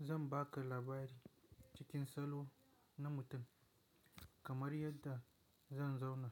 Zan ba ka labari cikin salo na mutum kamar yadda zan zauna